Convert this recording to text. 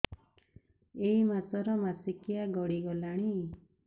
ଏଇ ମାସ ର ମାସିକିଆ ଗଡି ଗଲାଣି